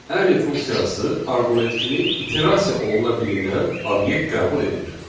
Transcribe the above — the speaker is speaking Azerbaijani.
Any funksiyası arqument kimi iterasiya oluna bilinən obyekt qəbul edir.